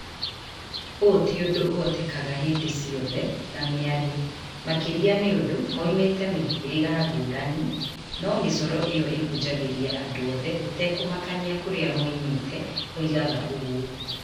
ũũ tĩ ũndũ ũhotekaga hĩndĩ ciothe na mĩario, makĩria nĩ ũndũ moĩmĩte mĩhĩrĩga ngũrani, no mĩcoro ĩo ĩhunjagĩria andũ othe gũtekũmakania kũrĩa moĩmĩte, oigaga ũguo.